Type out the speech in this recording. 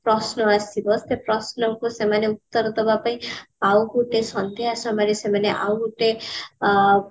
ପ୍ରଶ୍ନ ଆସିବ ସେ ପ୍ରଶ୍ନ କୁ ସେମାନେ ଉତ୍ତର ଦବା ପାଇଁ ଆଉ ଗୋଟେ ସନ୍ଧ୍ଯା ସମୟରେ ସେମାନେ ଆଉ ଗୋଟେ ଆ